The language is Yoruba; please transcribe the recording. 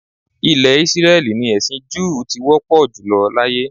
Ilẹ̀ Ísírẹ́lì ni ẹ̀sin júù ti wọ́pọ̀ jùlọ láyé